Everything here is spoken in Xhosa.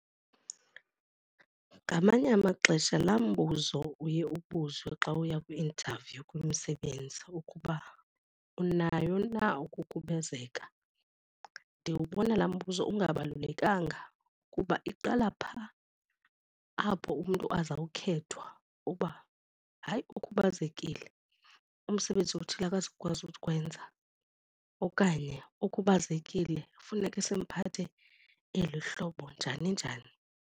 Ngamanye amaxesha laa mbuzo uye ubuzwe xa uya kwi-interview kumsebenzi ukuba unayo na ukukhubazeka. Ndiwubona laa mbuzo ungabalulekanga kuba iqala phaa apho umntu azawukhethwa uba hayi ukhubazekile, umsebenzi othile akazukwazi ukuwenza okanye ukhubazekile funeke simphethe eli hlobo njani njani.